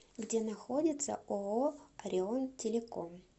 где находится ооо орион телеком